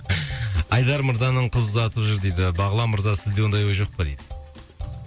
ыыы айдар мырзаның қыз ұзатып жүр дейді бағлан мырза сізде ондай ой жоқ па дейді